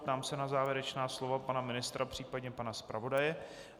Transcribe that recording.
Ptám se na závěrečná slova pana ministra, případně pana zpravodaje.